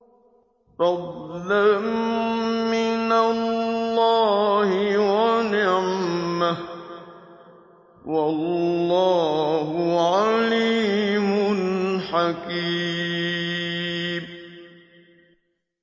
فَضْلًا مِّنَ اللَّهِ وَنِعْمَةً ۚ وَاللَّهُ عَلِيمٌ حَكِيمٌ